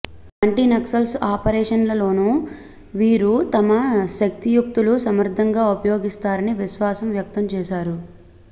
anti Naxals ఆపరేషన్లలోనూ వీరు తమ శక్తియుక్తులు సమర్థంగా ఉపయోగిస్తారని విశ్వాసం వ్యక్తం చేశారు